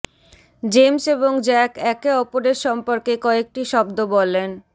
James এবং Jack একে অপরের সম্পর্কে কয়েকটি শব্দ বলেন